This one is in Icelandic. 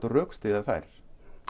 rökstyðja þær